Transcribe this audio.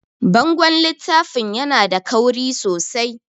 Bangon littafin yana da kauri sosai